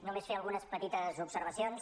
només fer algunes petites observacions